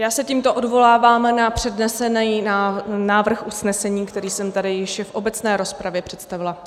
Já se tímto odvolávám na přednesený návrh usnesení, který jsem tady již v obecné rozpravě představila.